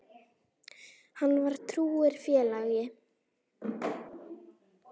Hann var trúr félagi.